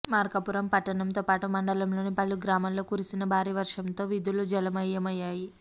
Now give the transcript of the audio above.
మార్కాపురం పట్టణంతోపాటు మండలంలోని పలు గ్రామాల్లో కురిసిన భారీ వర్షంతో వీధులు జలమయమయ్యాయి